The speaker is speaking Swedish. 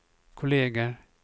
kolleger